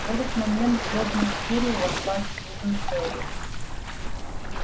в этот момент хлопнув дверью вошла сьюзен кэлвин